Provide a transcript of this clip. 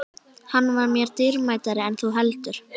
Hann var mér dýrmætari en þú heldur.